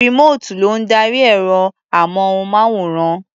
Rìmóòtù ló ń darí ẹ̀rọ-amóhùnmáwòrán.